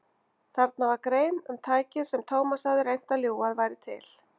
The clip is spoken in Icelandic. Þarna var grein um tækið sem Thomas hafði reynt að ljúga að væri til.